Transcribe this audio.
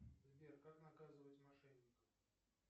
сбер как наказывать мошенников